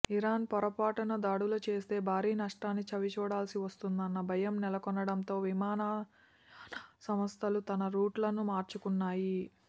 Iran పొరపాటున దాడులు చేస్తే భారీ నష్టాన్ని చవిచూడాల్సి వస్తుందన్న భయం నెలకొనడంతో విమానాయాన సంస్థలు తమ రూట్లను మార్చుకున్నాయి